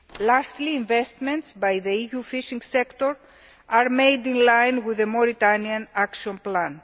Lastly, investments by the EU fishing sector are made in line with the Mauritania action